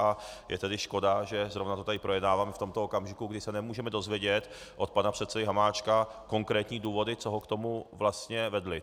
A je tedy škoda, že zrovna to tady projednáváme v tomto okamžiku, kdy se nemůžeme dozvědět od pana předsedy Hamáčka konkrétní důvody, co ho k tomu vlastně vedly.